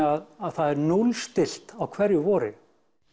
að það er núllstillt á hverju vori